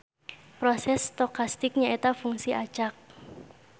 Proses stokastik nyaeta fungsi acak.